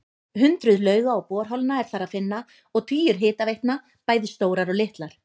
Hundruð lauga og borholna er þar að finna og tugir hitaveitna, bæði stórar og litlar.